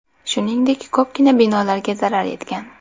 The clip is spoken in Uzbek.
Shuningdek, ko‘pgina binolarga zarar yetgan.